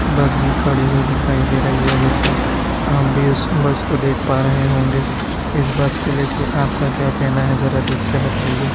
बस भी खड़ी हुई दिखाई दे रही है जैसा अह बीस बस को देख पा रहे होंगे इस बस को ले के आपका क्या कहना है जरा देख के बताइए।